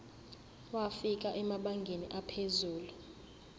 wafika emabangeni aphezulu